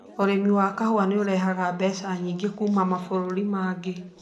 Ũrĩmi wa kahũa nĩ ũrehaga mbeca nyingĩ kuuma mabũrũri mangĩ.